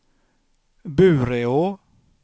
Bureå